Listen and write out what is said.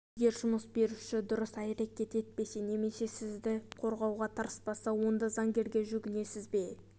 егер жұмыс беруші дұрыс әрекет етпесе немесе сізді қорғауға тырыспаса онда заңгерге жүгінесіз бе